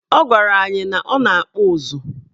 Ọ gwara anyị na ọ na-akpụ ụzụ.